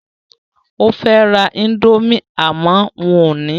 O fẹ́ ra indomie àmọ́ wọn ò ní